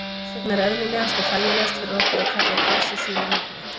Þess vegna er eðlilegast og þægilegast fyrir okkur að kalla Geysi sínu nafni.